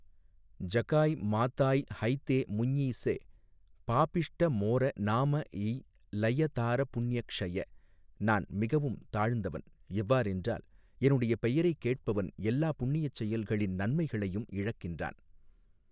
ஜகாய் மாதாய் ஹைதே முஞிஸே பாபிஷ்ட மோர நாம எய் லய தார புண்ய க்ஷய நான் மிகவும் தாழ்ந்தவன் எவ்வாறென்றால் என்னுடைய பெயரைக் கேட்பவன் எல்லா புண்ணியச் செயல்களின் நன்மைகளையும் இழக்கின்றான்.